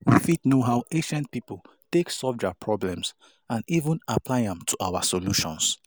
We fit know how ancient pipo take solve their problems and even apply am to our situation